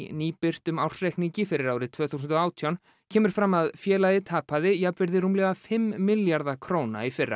nýbirtum ársreikningi fyrir árið tvö þúsund og átján kemur fram að félagið tapaði jafnvirði rúmlega fimm milljarða króna í fyrra